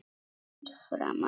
Fyrir framan alla?